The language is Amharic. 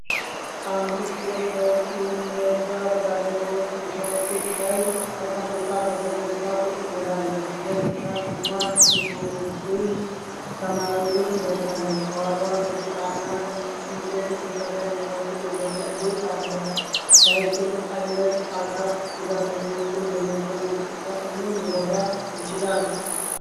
አንዲት ሴት በእጅ የሚነዳ ባለሶስት ሳይክል ላይ ተቀምጣ በፈገግታ ቁጭ ብላለች። ነጭ ሻሽ እና ቱርኩይዝ (ሰማያዊ) ልብስ ለብሳ፣ ከኋላው ከጭቃና እንጨት የተሰራ የሚመስል የገጠር ቤት አለ። ሳይክል ዓይነት አካል ጉዳተኞችን በየቀኑ እንቅስቃሴ ምን ሊረዳ ይችላል?